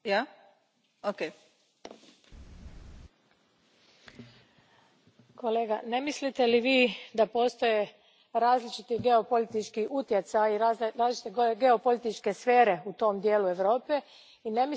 Kolega, ne mislite li da postoje različiti geopolitički utjecaji i različite geopolitičke sfere u tom dijelu Europe i ne mislite li da bi nama, kao Europskoj uniji, bilo važno imati mirno i pouzdano susjedstvo?